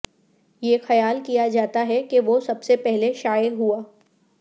یہ خیال کیا جاتا ہے کہ وہ سب سے پہلے شائع ہوا